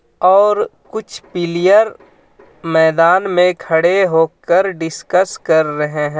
और कुछ पिल्यर मैदान में खड़े होकर डिस्कस कर रहे हैं.